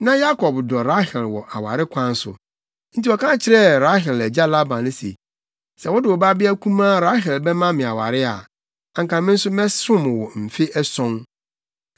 Na Yakob dɔ Rahel wɔ aware kwan so, nti ɔka kyerɛɛ Rahel agya Laban se, “Sɛ wode wo babea kumaa Rahel bɛma me aware a, anka me nso mɛsom wo mfe ason.”